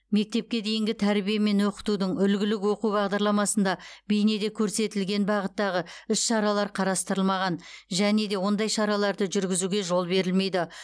мектепке дейінгі тәрбие мен оқытудың үлгілік оқу бағдарламасында бейнеде көрсетілген бағыттағы іс шаралар қарастырылмаған және де ондай шараларды жүргізуге жол берілмейді